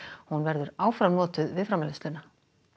hún verður áfram notuð við framleiðsluna